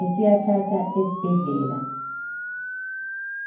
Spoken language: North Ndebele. ukuyathatha esibhedlela.